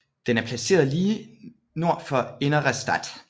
Den er placeret lige nord for Innere Stadt